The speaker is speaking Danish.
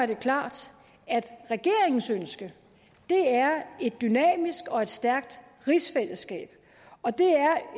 det klart at regeringens ønske er et dynamisk og stærkt rigsfællesskab og det er